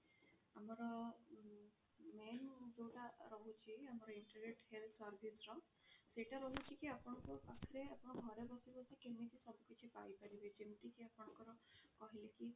ଆମର ଉ main ଯୋଉଟା ରହୁଛି ଆମର integrate health service ର ସେଇଟା ରହୁଛି କି ଆପଣଙ୍କ ପାଖରେ ଆପଣ ଘରେ ବସି ବସି କେମିତି ସବୁ କିଛି ପାଇ ପାରିବେ ଯେମିତିକି ଆପଣଙ୍କର କହିଲି କି